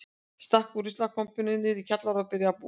Stakk út úr ruslakompunni niðri í kjallara og byrjaði að búa þar.